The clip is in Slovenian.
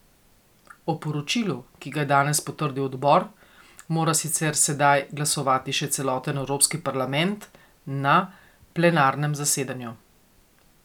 O poročilu, ki ga je danes potrdil odbor, mora sicer sedaj glasovati še celoten Evropski parlament na plenarnem zasedanju.